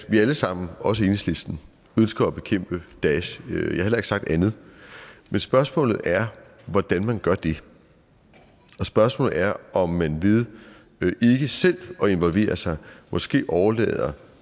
at vi alle sammen også enhedslisten ønsker at bekæmpe daesh jeg har heller ikke sagt andet men spørgsmålet er hvordan man gør det og spørgsmålet er om man ved ikke selv at involvere sig måske overlader